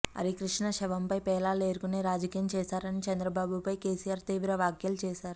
హరికృష్ణ శవంపై పేలాలు ఏరుకునే రాజకీయం చేశారని చంద్రబాబుపై కేసీఆర్ తీవ్ర వ్యాఖ్యలు చేశారు